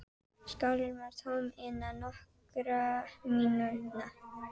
Skálin var tóm innan nokkurra mínútna.